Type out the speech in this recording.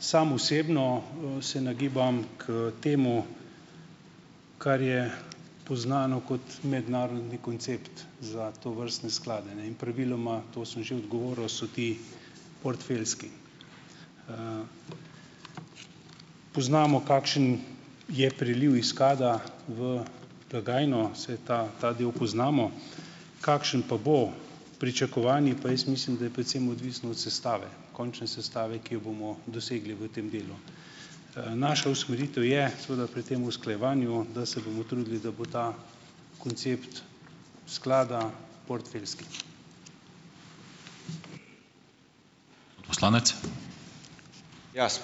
Sam osebno, se nagibam k temu, kar je poznano kot mednarodni koncept za tovrstne sklade, ne, in praviloma, to sem že odgovoril, so ti portfeljski. Poznamo, kakšen je priliv iz sklada v blagajno, saj ta ta del poznamo. Kakšen pa bo pričakovani, pa jaz mislim, da je predvsem odvisno od sestave, končne sestave, ki jo bomo dosegli v tem delu? Naša usmeritev je seveda pri tem usklajevanju, da se bomo trudili, da bo ta koncept sklada portfeljski.